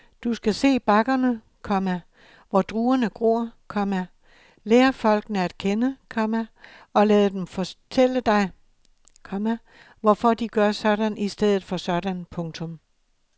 Du skal se bakkerne, komma hvor druerne gror, komma lære folkene at kende, komma og lade dem fortælle dig, komma hvorfor de gør sådan i stedet for sådan. punktum